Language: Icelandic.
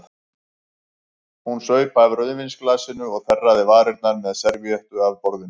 Hún saup af rauðvínsglasinu og þerraði varirnar með servíettu af borðinu.